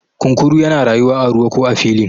kunkuru yana rayuwa a ruwa ko a filin